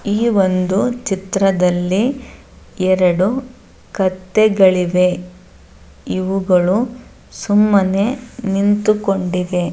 ಈ ಒಂದು ಚಿತ್ರದಲ್ಲಿ ಎರೆಡು ಕತ್ತೆಗಳಿವೆ. ಇವುಗಳು ಸುಮ್ಮನೆ ನಿಂತುಕೊಂಡಿವೆ.